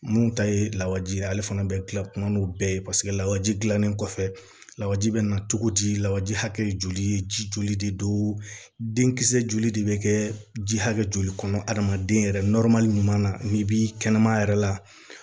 Mun ta ye lawaji ye ale fana bɛ kila kuma n'o bɛɛ ye paseke lawaji dilannen kɔfɛ lawɛ ji bɛ na cogo di lawaji hakɛ joli ye ji joli de don denkisɛ joli de bɛ kɛ ji hakɛ joli kɔnɔ hadamaden yɛrɛ ɲuman na n'i b'i kɛnɛmana yɛrɛ la